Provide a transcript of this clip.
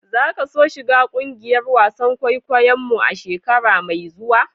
Za ka so shiga kungiyar wasan kwaikwayo mu a'shekara mai zuwa?